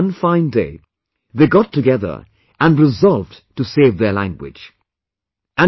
And then, one fine day, they got together and resolved to save their language